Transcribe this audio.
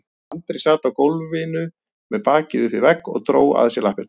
Andri sat á gólfinu með bakið upp við vegg og dró að sér lappirnar.